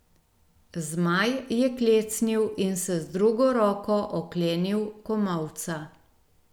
Zmaj je klecnil in se z drugo roko oklenil komolca.